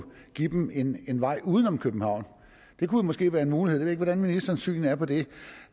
give dem en en vej uden om københavn det kunne måske være en mulighed jeg ved ikke hvordan ministerens syn er på det